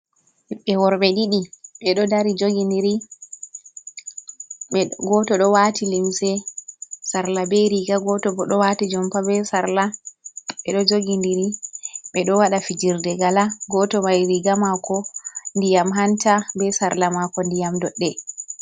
Ɓiɓɓe worɓe ɗiɗi ɓeɗo dari jogi ndiri, goto ɗo wati limse sarla be riga, goto bo ɗo wati jompa be sarla, ɓeɗo jogi ndiri ɓeɗo waɗa fijirde gala, goto mai riga mako ndiyam hanta be sarla mako ndiyam doɗɗe.